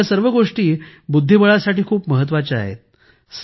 या सर्व गोष्टी बुद्धिबळासाठी खूप महत्त्वाच्या आहेत